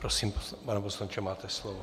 Prosím, pane poslanče, máte slovo.